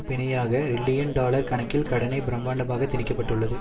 பிணையாக trillion dollar கணக்கில் கடனை பிரமாண்டமாக திணிக்க பட்டுள்ளது